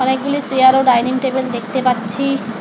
এগুলি চেয়ার ও dining table দেখতে পাচ্ছি।